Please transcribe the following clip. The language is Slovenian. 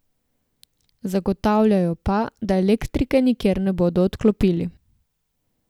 Zagotavljajo pa, da elektrike nikjer ne bodo odklopili.